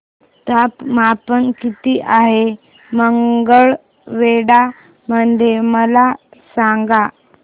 तापमान किती आहे मंगळवेढा मध्ये मला सांगा